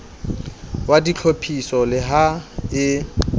wa ditlhophiso le ha e